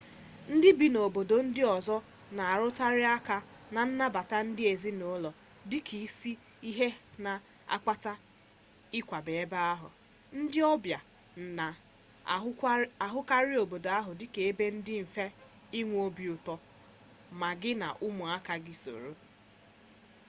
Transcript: ndị bi n'obodo ndị ọzọ na-arụtụkarị aka na nnabata ndị ezinaụlọ dịka isi ihe na-akpata ịkwaga ebe ahụ ndị ọbịa na-ahụkarị obodo ahụ dịka ebe di mfe inwe obi ụtọ ma gi na ụmụaka gi soro